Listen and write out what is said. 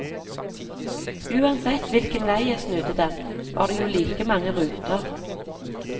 Uansett hvilken vei jeg snudde den var det jo like mange ruter.